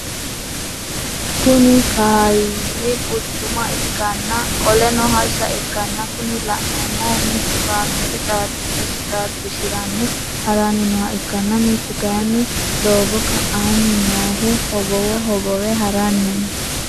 Kuni kaayiini quchchuma ikkanna qoleno hashsha ikkanna Kuni laneemmohu mittu kaameeli caabbichosi caabishiranni haranni nooha ikkanna mittu kaayiini doogo ka'aanni noohu hogowo hogowe haranni no